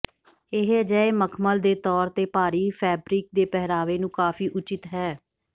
ਇਹ ਅਜਿਹੇ ਮਖਮਲ ਦੇ ਤੌਰ ਤੇ ਭਾਰੀ ਫੈਬਰਿਕ ਦੇ ਪਹਿਰਾਵੇ ਨੂੰ ਕਾਫ਼ੀ ਉਚਿਤ ਹੈ